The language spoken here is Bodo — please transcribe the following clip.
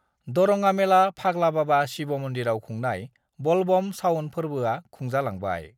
दरङामेला फाग्ला बाबा शिव मन्दिराव खुंनाय बलबम शाउन फोर्बोआ खुंजालांबाय